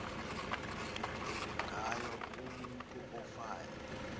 ngayo umutu ofayo